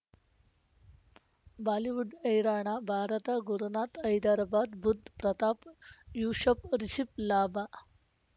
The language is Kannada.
ಬಾಲಿವುಡ್ ಹೈರಾಣ ಭಾರತ ಗುರುನಾಥ ಹೈದರಾಬಾದ್ ಬುಧ್ ಪ್ರತಾಪ್ ಯೂಶಪ್ ರಿಷಬ್ ಲಾಭ